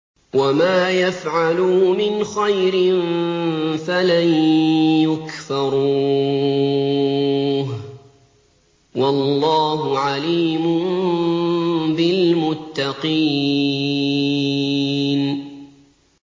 وَمَا يَفْعَلُوا مِنْ خَيْرٍ فَلَن يُكْفَرُوهُ ۗ وَاللَّهُ عَلِيمٌ بِالْمُتَّقِينَ